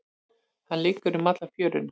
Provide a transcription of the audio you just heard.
Hann liggur um alla fjöruna.